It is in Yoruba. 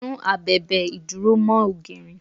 Sún abèbè ìdúró mó ògiri.